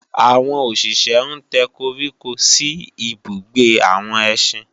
àwọn òṣìṣé ń tẹ́ koríko sí ibùgbé àwọn ẹsín